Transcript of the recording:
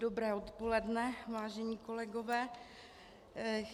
Dobré odpoledne, vážení kolegové.